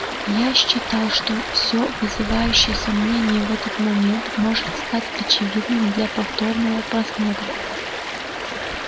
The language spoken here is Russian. я считал что все вызывающее сомнение в этот момент может стать очевидным для повторного просмотра